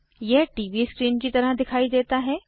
यह TV screen की तरह दिखाई देता है